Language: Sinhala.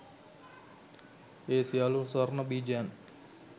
ඒ සියළු ස්වර්ණ බීජයන්